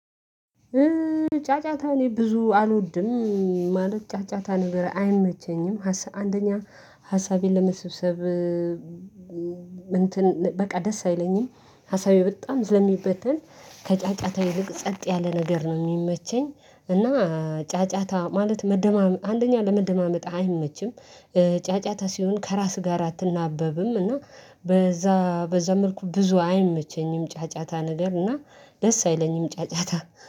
ጫጫታ እኔ ብዙ አልወድም። ማለት ጫጫታ ነገር አይመቸኝም። አንደኛ ሀሳቤን ለመሰብሰብ እንትን በቃ ደስ አይለኝም ሀሳቤ በጣም ስለሚበተን ከጫጫታ ይልቅ ጸጥ ያለ ነገር ነው የሚመቸኝ። እና ጫጫታ ማለት መደማ አንደኛ ለመደማመጥ አይመችም። ጫጫታ ሲሆን ከራስ ጋር አትናበብም እና። በዛ መልኩ ብዙ አይመቸኝም ጫጫታ ነገር እና ደስ አይለኝም ጫጫታ